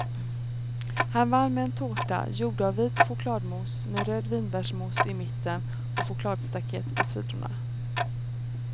Han vann med en tårta gjord av vit chokladmousse med röd vinbärsmousse i mitten och chokladstaket på sidorna.